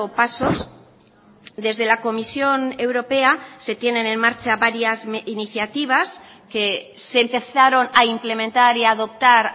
pasos desde la comisión europea se tienen en marcha varias iniciativas que se empezaron a implementar y a adoptar